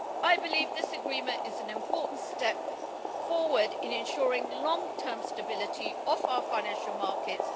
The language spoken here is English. I believe this agreement is an important step forward in ensuring the long-term stability of our financial markets.